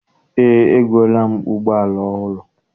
Eé, egoola m ụgbọala ọhụrụ.